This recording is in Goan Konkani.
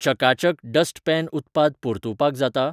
चका चक डस्ट पॅन उत्पाद परतुवपाक जाता?